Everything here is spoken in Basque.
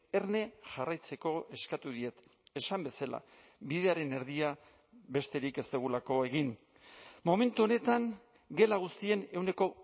erne jarraitzeko eskatu diet esan bezala bidearen erdia besterik ez dugulako egin momentu honetan gela guztien ehuneko